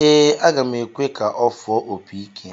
Ee, aga m ekwe ka ọ fụọ opi ike.